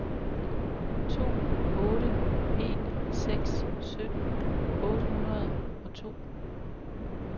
to otte en seks sytten otte hundrede og to